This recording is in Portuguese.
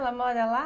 Ela mora lá?